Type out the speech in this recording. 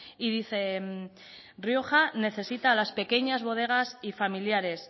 y dice rioja necesita las pequeñas bodegas y familiares